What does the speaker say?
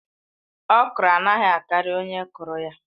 Okro anaghị akari onye kụrụ ya